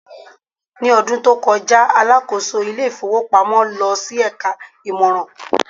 ní ọdún tí o koja, alákóso ilé ifowópamọ́ lọ sí eka imoran